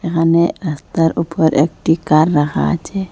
এখানে রাস্তার ওপর একটি কার রাখা আছে।